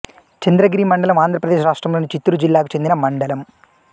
చంద్రగిరి మండలం ఆంధ్ర ప్రదేశ్ రాష్ట్రంలోని చిత్తూరు జిల్లాకు చెందిన మండలం